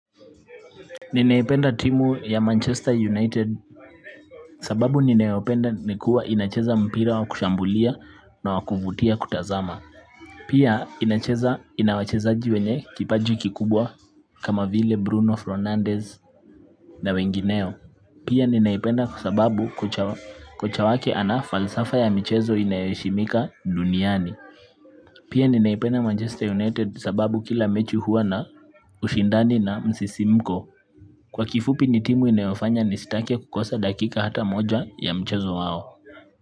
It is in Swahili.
Ninaipenda timu ya Manchester United sababu ninayopenda ni kuwa inacheza mpira wa kushambulia na wa kuvutia kutazama pia inacheza inawachezaji wenye kipaji kikubwa kama vile Bruno Fernandez na wengineo. Pia ninaipenda sababu kocha wake ana falsafa ya michezo inayoheshimika duniani. Pia ninaipenda Manchester United sababu kila mechi huwa na ushindani na msisimko kwa kifupi ni timu inayofanya nisitake kukosa dakika hata moja ya mchezo wao.